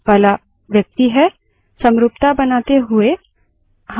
अब root user कौन है